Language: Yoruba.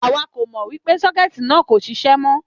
Àwa kò mọ wípé sókétì náà kò ṣiṣẹ́ mó